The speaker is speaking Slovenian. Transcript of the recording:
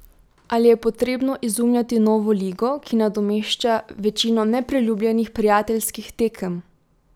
Ali je potrebno izumljati novo ligo, ki nadomešča večino nepriljubljenih prijateljskih tekem?